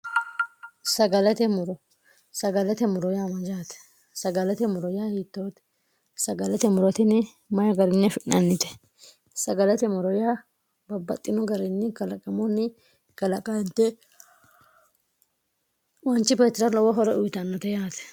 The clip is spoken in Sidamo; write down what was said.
sagalate muro sagalate muro yaa majaate sagalate muro yaa hiittoote sagalate murotini may garinne fi'nannite sagalate muro yaa babbaxxino garinni galaqamoonni galaqadte wanchi petira lowo hore uyitannote yaate